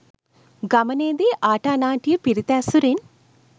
ගමනේදි ආටානාටිය පිරිත ඇසුරෙන්